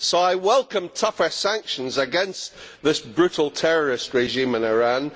Therefore, I welcome tougher sanctions against this brutal terrorist regime in Iran.